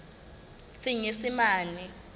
senyesemane